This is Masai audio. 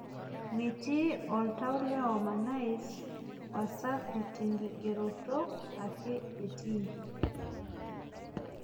Metii oltau le Harmonize Wasafi tenkigeroto ake etii